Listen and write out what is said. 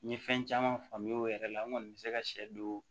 N ye fɛn caman faamuya o yɛrɛ la n kɔni bɛ se ka sɛ don